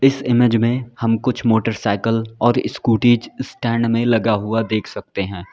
इस इमेज में हम कुछ मोटरसायकल और स्कूटीज स्टैंड में लगा हुआ देख सकते हैं।